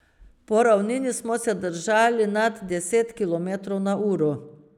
Po ravnini smo se držali nad deset kilometrov na uro.